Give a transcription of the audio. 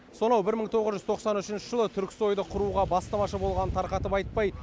сонау бір мың тоғыз жүз тоқсан үшінші жылы түрксой ды құруға бастамашы болғанын тарқатып айтпай